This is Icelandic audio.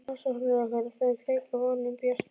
Rannsóknir okkar á þeim kveikja von um bjarta framtíð.